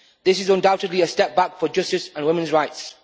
This is undoubtedly a step back for justice and women's rights.